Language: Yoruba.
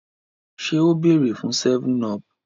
ṣe o beere fun 7up?